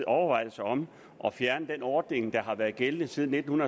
overvejelser om at fjerne den ordning der har været gældende siden nitten